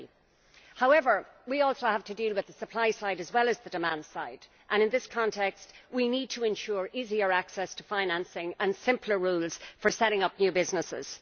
30. However we also have to deal with the supply side as well as the demand side and in this context we need to ensure easier access to financing and simpler rules for setting up new businesses.